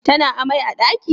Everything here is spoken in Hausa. Tana amai a daki?